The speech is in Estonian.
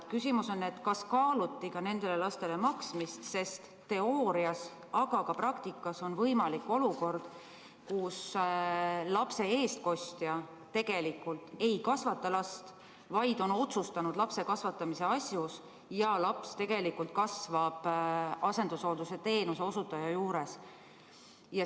Küsimus on, kas kaaluti ka nendele lastele maksmist, sest teoorias, aga ka praktikas on võimalik olukord, kus lapse eestkostja tegelikult ei kasvata last, vaid on otsustanud lapse kasvatamise asjus ja laps kasvab tegelikult asendushoolduse teenuseosutaja juures.